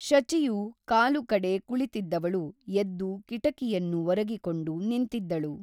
ಶಚಿಯು ಕಾಲುಕಡೆ ಕುಳಿತಿದ್ದವಳು ಎದ್ದು ಕಿಟಕಿಯನ್ನು ಒರಗಿಕೊಂಡು ನಿಂತಿದ್ದಳು.